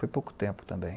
Foi pouco tempo também.